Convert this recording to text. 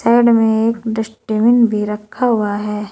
Side में एक dustbin भी रखा हुआ है।